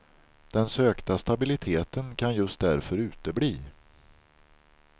Den sökta stabiliteten kan just därför utebli.